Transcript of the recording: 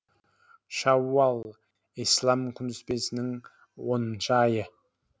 шәууәл ислам күнтізбесінің оныншы айы